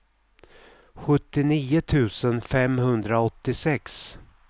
sjuttionio tusen femhundraåttiosex